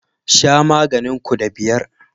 Sha maganin ku da biyar